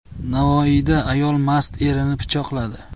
Navoiyda ayol mast erini pichoqladi.